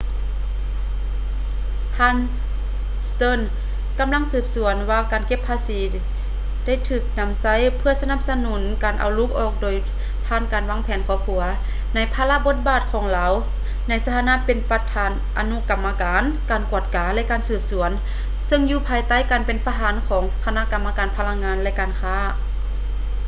ທ່ານ stearns ກຳລັງສືບສວນວ່າການເກັບພາສີໄດ້ຖືກນຳໃຊ້ເພື່ອສະໜັບສະໜູນການເອົາລູກອອກໂດຍຜ່ານການວາງແຜນຄອບຄົວ ໃນພາລະບົດບາດຂອງລາວໃນຖານະເປັນປະທານອະນຸກຳມະການ ການກວດກາ ແລະ ການສືບສວນ ເຊິ່ງຢູ່ພາຍໃຕ້ການເປັນປະທານຂອງຄະນະກຳມະການພະລັງງານ ແລະ ການຄ້າ